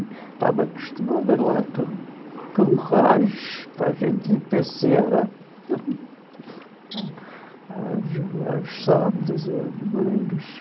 Estava acostumada lá com com o rojo, para a gente ir passear aos aos sábados ou aos domingos.